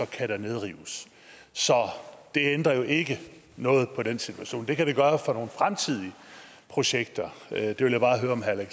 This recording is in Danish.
kan der nedrives så det ændrer jo ikke noget på den situation det kan det gøre for nogle fremtidige projekter jeg vil bare høre om herre